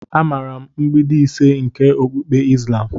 Amaara m mgbidi ise nke okpukpe islam.